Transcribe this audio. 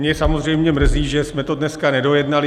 Mě samozřejmě mrzí, že jsme to dnes nedojednali.